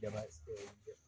Jaba